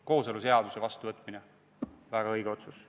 Kooseluseaduse vastuvõtmine – väga õige otsus.